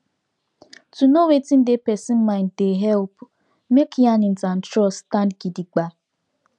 to know wetin dey the person mind dey help make yarnings and trust stand gidigba